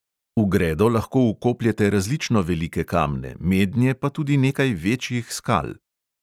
V gredo lahko vkopljete različno velike kamne, mednje pa tudi nekaj večjih skal.